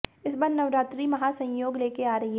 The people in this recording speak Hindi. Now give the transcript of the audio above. इस बार नवरात्रि महासंयोग लेकर आ रही है